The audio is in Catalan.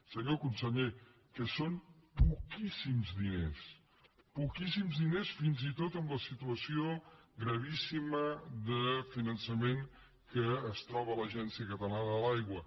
senyor conseller que són poquíssims diners poquíssims diners fins i tot en la situació gravíssima de finançament en què es troba l’agència catalana de l’aigua